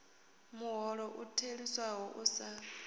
muholo u theliswaho u sa